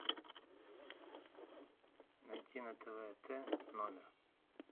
найти на тв т номер